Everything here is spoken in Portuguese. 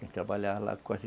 Quem trabalhar lá quase